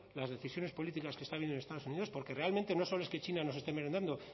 las decisiones políticas que están viniendo de estados unidos porque realmente no solo es que china nos esté merendando